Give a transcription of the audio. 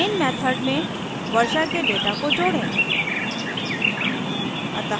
main method में वर्षा के data को जोड़ें